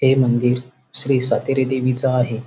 हे मंदिर श्री सातेरी देवीच आहे.